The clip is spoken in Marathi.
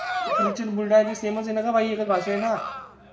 चिखलीची अन बुलढाणाची सेम च आहे ना गं बाई एकच भाषा आहे ना?